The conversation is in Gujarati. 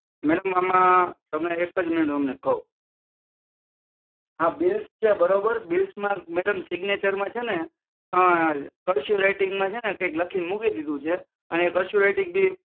આ બીલ્સ છે બરોબર બિલ્સમાં મેડમ સિગ્નેચરમાં છે ને ક્ર્શ્યું રાઈટીંગમાં કાયક લખી ને મૂકી દીધું છે અને ક્ર્શ્યું રાઈટીંગ